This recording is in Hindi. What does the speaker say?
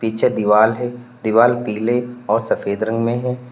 पीछे दीवार है दीवार पीले और सफेद रंग में है।